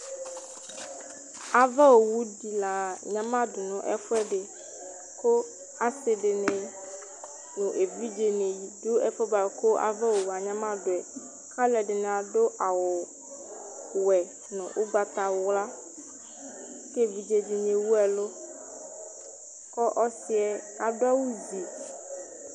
ava owu di la anyamado no ɛfu ɛdi kò asi di ni no evidze ni do ɛfu yɛ boa kò ava owu yɛ anyamado yɛ k'alo ɛdini adu awu wɛ no ugbata wla k'evidze di ni ewu ɛlu k'ɔsi yɛ adu awu zi